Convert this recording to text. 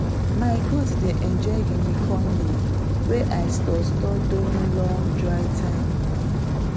my goat dey enjoy guinea corn leaf wey i store store during long dry time